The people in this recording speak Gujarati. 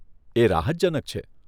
એ રાહતજનક છે.